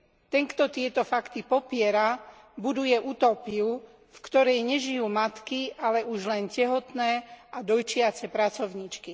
Ten, kto tieto fakty popiera, buduje utópiu, v ktorej nežijú matky, ale už len tehotné a dojčiace pracovníčky.